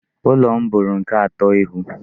Ụlọ m bụrụ nke atọ ịhụ.